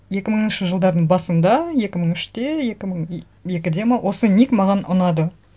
екі мыңыншы жылдардың басында екі мың үште екі мың екіде ме осы ник маған ұнады